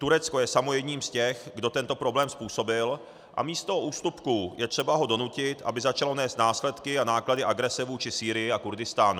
Turecko je samo jedním z těch, kdo tento problém způsobil, a místo ústupků je třeba ho donutit, aby začalo nést následky a náklady agrese vůči Sýrii a Kurdistánu.